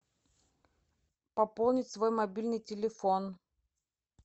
пополнить свой мобильный телефон